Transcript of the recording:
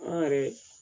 An yɛrɛ